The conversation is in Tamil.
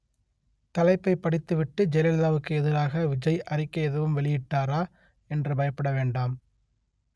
தலைப்பை படித்துவிட்டு ஜெயலலிதாவுக்கு எதிராக விஜய் அறிக்கை எதுவும் வெளியிட்டாரா என்று பயப்பட வேண்டாம்